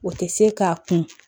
O tɛ se k'a kun